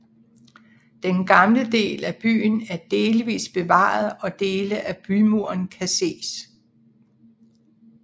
Den gamle del af byen er delvist bevaret og dele af bymuren kan ses